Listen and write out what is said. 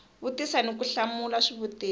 vutisa ni ku hlamula swivutiso